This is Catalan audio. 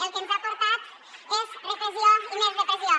el que ens ha portat és repressió i més repressió